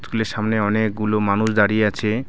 School -এর সামনে অনেকগুলো মানুষ দাঁড়িয়ে আছে।